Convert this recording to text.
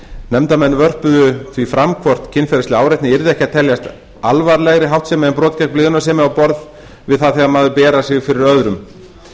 nefndarmenn vörpuðu því fram hvort kynferðisleg áreitni yrði ekki að teljast alvarlegri háttsemi en brot gegn blygðunarsemi á borð við það þegar maður berar sig fyrir öðrum